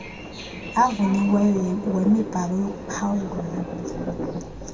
avunyiweyo wemibhalo yokuphawula